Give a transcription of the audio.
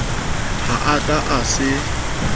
ha a ka a se